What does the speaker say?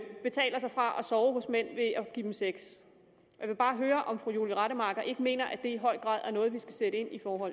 sove hos mænd og give dem sex jeg vil bare høre om fru julie rademacher ikke mener at det i høj grad er noget vi skal sætte ind over